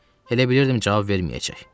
Elə bilirdim cavab verməyəcək.